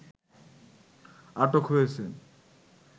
আটক হয়েছেন